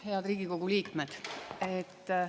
Head Riigikogu liikmed!